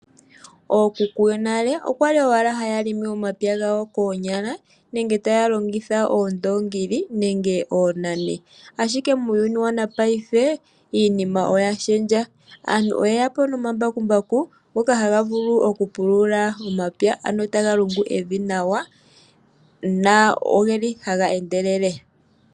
ookuku yonale oya li owala haya limi omapya gawo koonyala nenge taya longitha oondoongi nenge oonani, ashike muuyuni wopaife iinima oya shendja. Aantu oye ya po nomambakumbaku ngoka haga vulu okupulula omapya, ano taga lungu evi nawa noge li haga endelele.